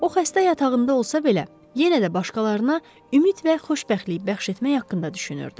O, xəstə yatağında olsa belə, yenə də başqalarına ümid və xoşbəxtlik bəxş etmək haqqında düşünürdü.